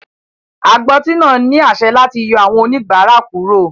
Agbọ́tí náà ní àṣẹ láti yọ àwọn oníbàárà kúrò.